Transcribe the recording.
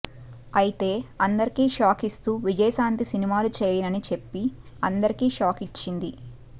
అయితే అందరికీ షాక్ ఇస్తూ విజయశాంతి సినిమాలు చేయనని చెప్పి అందరికీ షాక్ ఇచ్చింది